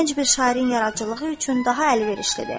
Bura gənc bir şairin yaradıcılığı üçün daha əlverişlidir.